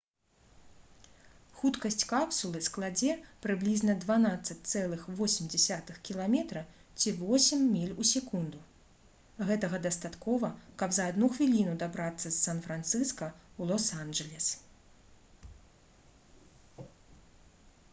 хуткасць капсулы складзе прыблізна 12,8 км ці 8 міль у секунду гэтага дастаткова каб за адну хвіліну дабрацца з сан-францыска ў лос-анджэлес